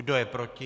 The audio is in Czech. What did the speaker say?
Kdo je proti?